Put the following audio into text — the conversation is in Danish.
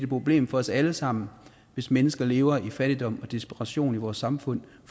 problem for os alle sammen hvis mennesker lever i fattigdom og desperation i vores samfund